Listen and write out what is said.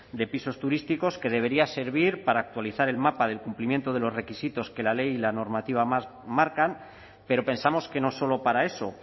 de pisos turísticos que debería servir para actualizar el mapa del cumplimiento de los requisitos que la ley y la normativa marcan pero pensamos que no solo para eso